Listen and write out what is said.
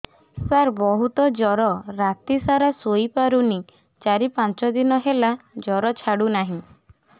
ସାର ବହୁତ ଜର ରାତି ସାରା ଶୋଇପାରୁନି ଚାରି ପାଞ୍ଚ ଦିନ ହେଲା ଜର ଛାଡ଼ୁ ନାହିଁ